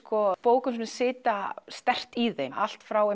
bókin sem sitja sterkt í þeim allt frá